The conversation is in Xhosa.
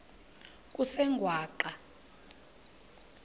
kusengwaqa